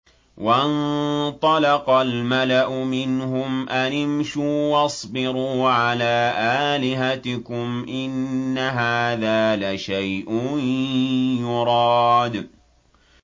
وَانطَلَقَ الْمَلَأُ مِنْهُمْ أَنِ امْشُوا وَاصْبِرُوا عَلَىٰ آلِهَتِكُمْ ۖ إِنَّ هَٰذَا لَشَيْءٌ يُرَادُ